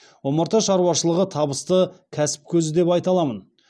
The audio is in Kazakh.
омарта шаруашылығы табысты кәсіп көзі деп айта аламын